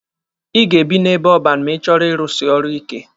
Ị ga-ebi n'ebe ọban ma ị chọrọ ịrusi ọrụ ike.